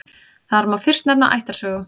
Þar má fyrst nefna ættarsögu.